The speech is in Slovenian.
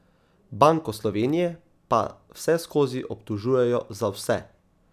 Banko Slovenije pa vseskozi obtožujejo za vse.